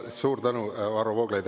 Suur tänu, Varro Vooglaid!